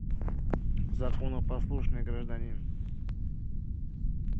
законопослушный гражданин